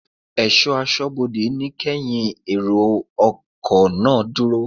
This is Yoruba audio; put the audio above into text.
Ẹ̀ṣọ́ aṣọ́bodè ní kẹ́ yin èrò ọkọ̀ Òfurufú náà dúró!